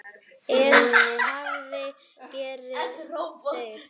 En hvað gera þeir?